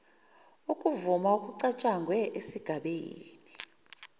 ukuvuma okucatshangwe esigabeni